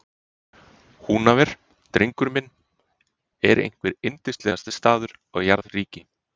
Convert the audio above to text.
Húnaver, drengur minn, er einhver yndislegasti staður á jarðríki.